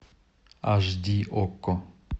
аш ди окко